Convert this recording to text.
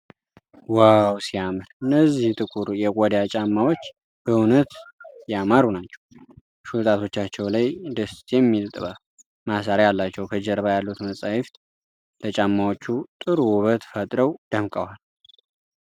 ዋው፣ ሲያምር! እነዚህ ጥቁር የቆዳ ጫማዎች በእውነት ያማሩ ናቸው። ሹል ጣቶቻቸው ላይ ደስ የሚል ጥብጣብ (ማሰሪያ) አላቸው። ከጀርባ ያሉት መጽሐፍት ለጫማዎቹ ጥሩ ዉበት ፈጥረው ደምቀዋል።